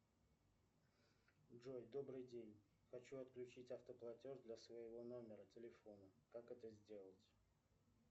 джой добрый день хочу отключить автоплатеж для своего номера телефона как это сделать